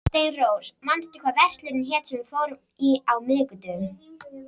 Steinrós, manstu hvað verslunin hét sem við fórum í á miðvikudaginn?